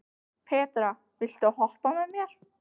Petra, viltu hoppa með mér?